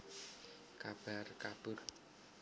Kabar kabur